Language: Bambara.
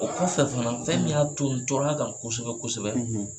O kɔfɛ fana fɛn min y'a to n tora kan kosɛbɛ kosɛbɛ